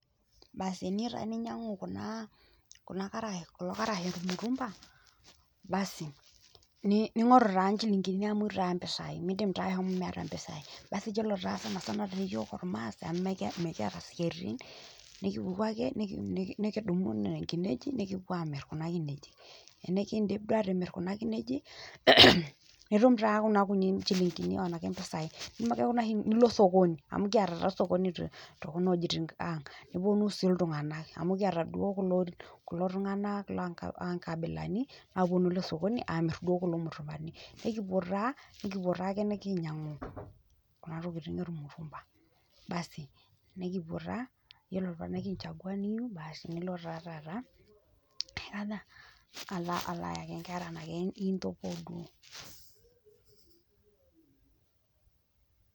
Teniyeu ninyang'u taa kulo karash le mitumba ningoru naa inchilingini amu eyeu taa mpisai, miidnim taa amu mieta mpisaii, basi iyolo taa sana sana yook irmaasai amu mikieta siaritin, nikipuku ake nikidumu nenia nkineji nikipo aamirr kuna kineji, enikiindip doi aatimir kuna kineji nitum taa kuna kunini inchilingini onaake empesai, nilo esokoni amu kietaa taa osokoni too kuna ojitin aaang',neponu sii ltungana amu kieta duo kulo tungana laa nkabilani aaponu ale sokoni aamirr duo kulo murrukani, nikipo taa aapo nikiinyang'u kuna tokitin olmurruka basi nikipo taa iyolo paaaku nikinchagua niyeu basi nilo taa taata aikoja alo aeki inkerra naake.